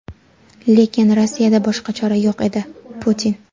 lekin Rossiyada boshqa chora yo‘q edi – Putin.